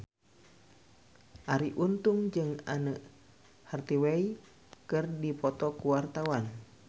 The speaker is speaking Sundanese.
Arie Untung jeung Anne Hathaway keur dipoto ku wartawan